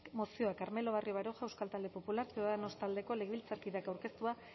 mozioa carmelo barrio baroja euskal talde popularra ciudadanos taldeko legebiltzarkideak aurkeztua